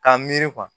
K'a miiri kuwa